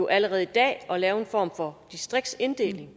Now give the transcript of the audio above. allerede i dag at lave en form for distriktsinddeling